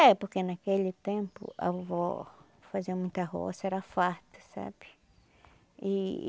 É, porque naquele tempo a vovó fazia muita roça, era farta, sabe? E